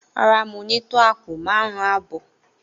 Rárá, mo ni to àpò márún abọ